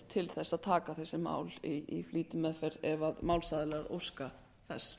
til að taka þessi mál í flýtimeðferð ef málsaðilar óska þess